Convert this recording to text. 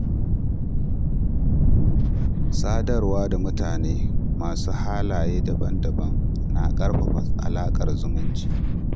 Sadarwa da mutane masu halaye daban-daban na ƙarfafa alaƙar zumunci.